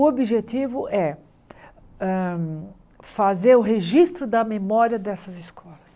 O objetivo é hã fazer o registro da memória dessas escolas.